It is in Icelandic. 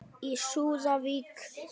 Í súðavík